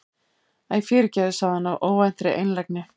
Æ, fyrirgefðu- sagði hann af óvæntri einlægni.